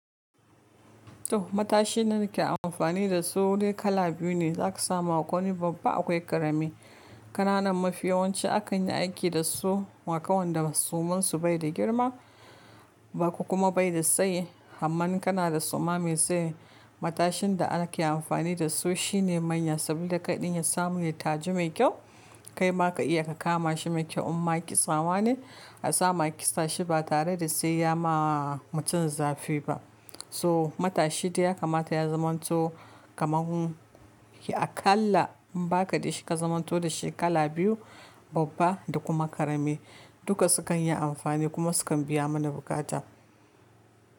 To matashin da ake amfani da su dai kala biyu ne za su sami wa kowanne babba akwai karami. Kananan mafi yawanci akan yi aiki da su wa kawanda sumansu bai da girma ba kuma bai da tsayi. Amma kana da suma mai tsayi matashin da ake amfani da su shine manya saboda kaiɗin ya samu ne taji mai kyau. Kai maka iya ka kama shi mai kyau imma ƙitsawa ne a sama ƙitsashi ba tare da sai ya ma mutum zafi ba. So matashi da ya kamata ya zamanto kamar a kala in ba ka dashi ka zamanto da shekara biyu babba da kuma ƙarami duka sukan yi amfani kuma sukan biya mana bukata.